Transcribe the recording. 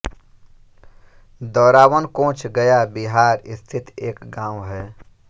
दौरावन कोंच गया बिहार स्थित एक गाँव है